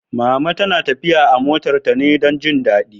Mama na tafiya a motar ta ne don jin daɗi